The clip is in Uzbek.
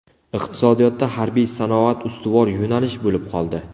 Iqtisodiyotda harbiy sanoat ustuvor yo‘nalish bo‘lib qoldi.